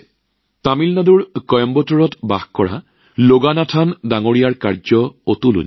তামিলনাডুৰ কইম্বাটুৰত বাস কৰা লগানাথনজীৰ অতুলনীয়